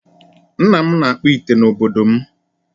Nna m na-akpụ ite n'obodo m.